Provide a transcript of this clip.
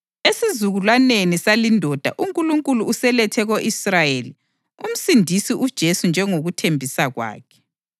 Esizukulwaneni salindoda uNkulunkulu uselethe ko-Israyeli uMsindisi uJesu njengokuthembisa kwakhe.